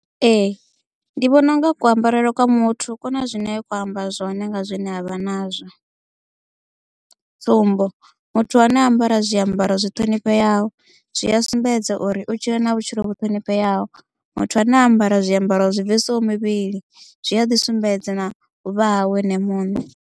Ee ndi vhona u nga ku ambarele kwa muthu ku na zwine kho amba zwone nga zwine avha nazwo tsumbo muthu ane a ambara zwiambaro zwi ṱhonifheaho zwi a sumbedza uri u tshila na vhutshilo vhu ṱhonifheaho muthu ane a ambara zwiambaro zwi bvisaho muvhili zwi a ḓi sumbedza na u vhuvha hawe ene muṋe.